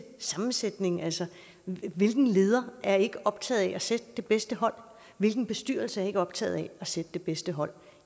sammensætning altså hvilken leder er ikke optaget af at sætte det bedste hold hvilken bestyrelse er ikke optaget af at sætte det bedste hold